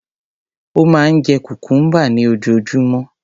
Ó máa ń jẹ cucumber ní ojoojúmọ́.